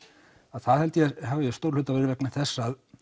það held ég að hafi að stórum hluta verið vegna þess að